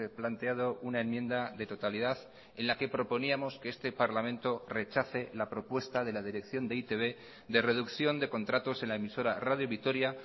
planteado una enmienda de totalidad en la que proponíamos que este parlamento rechace la propuesta de la dirección de e i te be de reducción de contratos en la emisora radio vitoria